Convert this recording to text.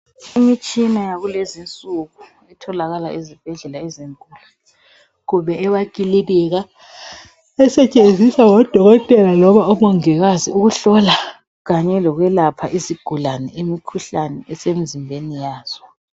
Imitshina yakulezinsuku etholakala ezibhedlela ezinkulu kumbe emakilinika esetshenziswa ngodokotela noma omongikazi ukuhlola Kanye lokwelaphela izigulaneimikhuhlane esemzimbeni yazi.